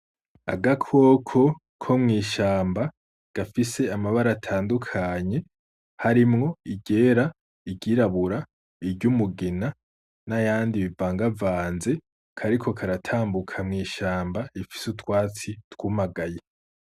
Agakoko ko mw'ishamba gafise amabara atandukanye harimwo iryera, iryirabura, iry'umugina n’ayandi bivangavanze, kariko karatambuka mw’ishamba rifise utwatsi twumagaye.